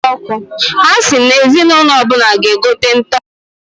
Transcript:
Ha si na ezi n'ụnọ ọbụna g'egote nta ọkụ.